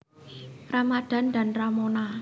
Ramadhan dan Ramona